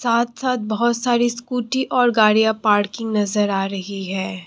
साथ साथ बहुत सारी स्कूटी और गाड़ियां पार्किंग की नजर आ रही है।